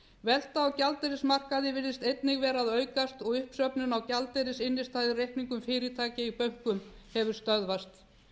velta á gjaldeyrismarkaði virðist einnig vera að aukast og uppsöfnun á gjaldeyrisinnstæðureikningum fyrirtækja í bönkunum hefur stöðvast